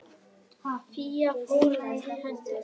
Fía fórnaði höndum.